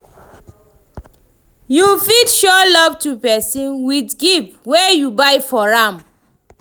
You fit show love to persin with gift wey you buy for am